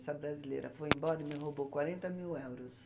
Essa brasileira foi embora e me roubou quarenta mil euros.